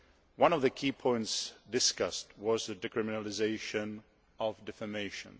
One of the key points discussed was the decriminalisation of defamation.